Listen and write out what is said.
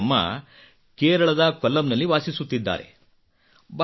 ಭಾಗೀರಥಿ ಅಮ್ಮ ಕೇರಳದ ಕೊಲ್ಲಂನಲ್ಲಿ ವಾಸಿಸುತ್ತಿದ್ದಾರೆ